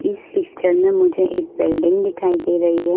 इस पिक्चर में मुझे एक बिल्डिंग दिखाई दे रही है।